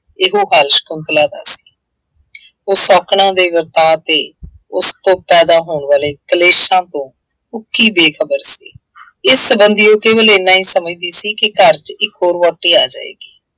ਇਹੋ ਹਾਲ ਸ਼ੰਕੁਤਲਾ ਦਾ ਸੀ। ਉਹ ਸ਼ੌਂਕਣਾਂ ਦੇ ਵਰਤਾਉ ਤੇ ਉਸ ਤੋਂ ਪੈਦਾ ਹੋਣ ਵਾਲੇ ਕਲੇਸ਼ਾ ਤੋਂ ਉੱਕੀ ਬੇਖਬਰ ਸੀ। ਇਸ ਸੰਬੰਧੀ ਉਹ ਕੇਵਲ ਐਨਾ ਹੀ ਸਮਝਦੀ ਸੀ ਕਿ ਘਰ ਇੱਕ ਹੋਰ ਵਹੁਟੀ ਆ ਜਾਏਗੀ।